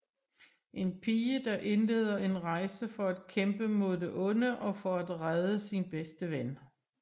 En pige der indleder en rejse for at kæmpe mod det onde og for at redde sin bedste ven